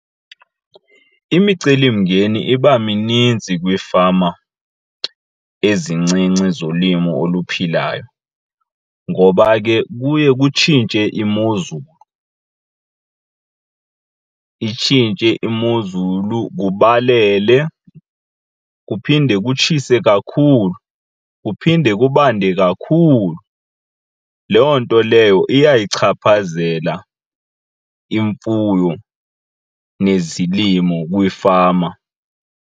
Imicelimngeni iba mininzi kwiifama ezincinci zolimo oluphilayo ngoba ke kuye kutshintshe imozulu, itshintshe imozulu kubalele kuphinde kutshise kakhulu kuphinde kubande kakhulu. Loo nto leyo iyayichaphazela imfuyo nezilimo kwiifama.